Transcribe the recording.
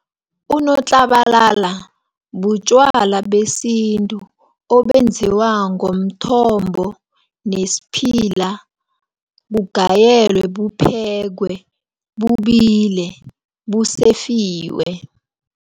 Unotlabalala butjwala besintu, obenziwa ngomthombo nesiphila, bugayelwe buphekwe, bubile busefiwe.